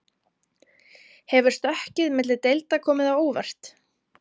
Hefur stökkið milli deilda komið á óvart?